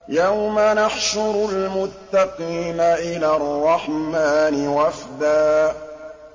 يَوْمَ نَحْشُرُ الْمُتَّقِينَ إِلَى الرَّحْمَٰنِ وَفْدًا